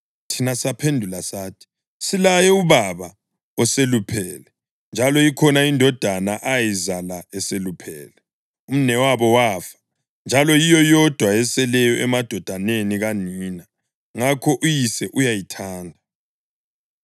Thina saphendula sathi, ‘Silaye ubaba oseluphele, njalo ikhona indodana ayizala eseluphele. Umnewabo wafa, njalo yiyo yodwa eseleyo emadodaneni kanina, ngakho uyise uyayithanda.’